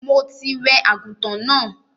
Mo ti wẹ àgùntàn náà.